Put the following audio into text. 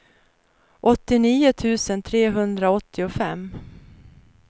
åttionio tusen trehundraåttiofem